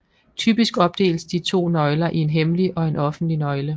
Typisk opdeles de to nøgler i en hemmelig og en offentlig nøgle